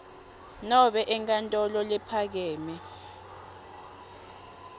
nobe enkantolo lephakeme